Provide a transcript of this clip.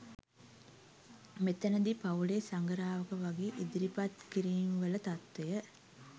මෙතැන දී පවුලේ සඟරාවක වගේ ඉදිරිපත් කිරීම් වල තත්වය